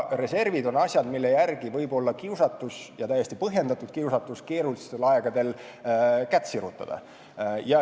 Reservid on aga asjad, mille järgi võib olla kiusatus – ja täiesti põhjendatud kiusatus – keerulistel aegadel kätt sirutada.